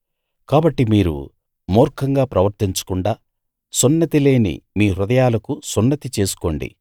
కాబట్టి మీరు మూర్ఖంగా ప్రవర్తించకుండా సున్నతి లేని మీ హృదయాలకు సున్నతి చేసుకోండి